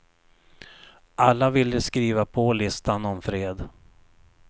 Alla ville skriva på listan om fred.